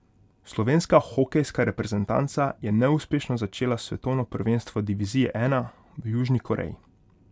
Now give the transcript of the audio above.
Slovenska hokejska reprezentanca je neuspešno začela svetovno prvenstvo divizije I v Južni Koreji.